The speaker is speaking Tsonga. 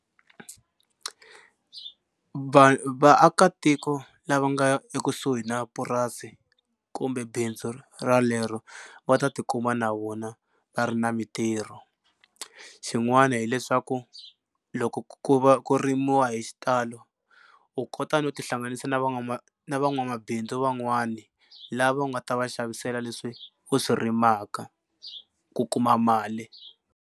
vaakatiko lava nga ekusuhi na purasi kumbe bindzu ralero va ta tikuma na vona va ri na mitirho xin'wana hileswaku loko ku va ku rimiwa hi xitalo u kota no tihlanganisa na na van'wamabindzu van'wani lava u nga ta va xavisela leswi u swi rimaka ku kuma mali.